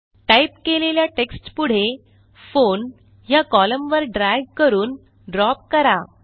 type केलेल्या टेक्स्टपुढे phone ह्या कोलम्न वर ड्रॅग करून ड्रॉप करा